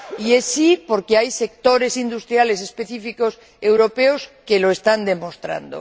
Y es sí porque hay sectores industriales específicos europeos que lo están demostrando.